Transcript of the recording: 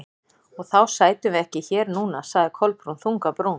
Og þá sætum við ekki hér núna- sagði Kolbrún, þung á brún.